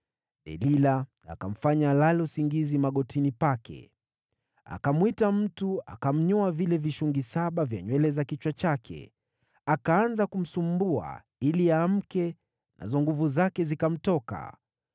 Delila akamfanya alale usingizi magotini pake, akamwita mtu akamnyoa vile vishungi saba vya nywele za kichwa chake. Akaanza kumsumbua ili aamke nazo nguvu zake zikamtoka.